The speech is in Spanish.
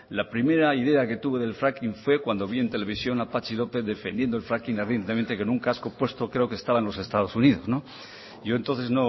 la primera idea que tuve del fracking fue cuando vi en televisión a patxi lópez defendiendo el fracking ardientemente con un casco puesto creo que estaba en los estados unidos yo entonces